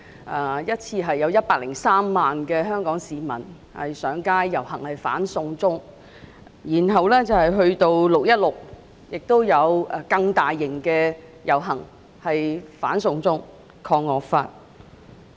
第一次遊行有103萬香港市民上街遊行"反送中"；其後在6月16日，遊行規模更加大型，同樣是"反送中，抗惡法"。